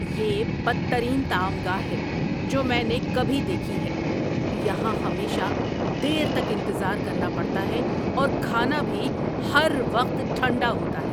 یہ بدترین طعام گاہ ہے جو میں نے کبھی دیکھی ہے۔ یہاں ہمیشہ دیر تک انتظار کرنا پڑتا ہے اور کھانا بھی ہر وقت ٹھنڈا ہوتا ہے۔